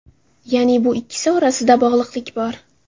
Ya’ni, bu ikkisi orasida bog‘liqlik bor.